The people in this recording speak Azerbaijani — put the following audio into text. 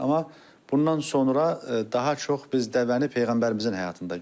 Amma bundan sonra daha çox biz dəvəni peyğəmbərimizin həyatında görürük.